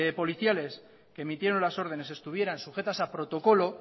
policiales que emitieron las ordenes estuvieran sujetas a protocolo